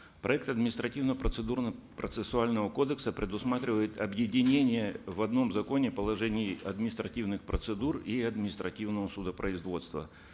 проект административно процедурного процессуального кодекса предусматривает объединение в одном законе положений административных процедур и административного судопроизводства